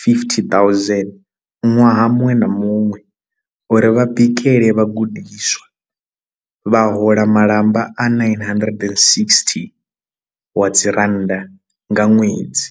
50 000 ṅwaha muṅwe na muṅwe uri vha bikele vhagudiswa, vha hola malamba a 960 wa dzi rannda nga ṅwedzi.